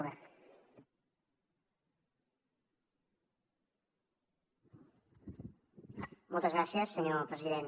moltes gràcies senyor president